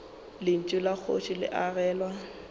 lentšu la kgoši le agelwa